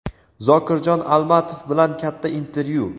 Zokirjon Almatov bilan katta intervyu.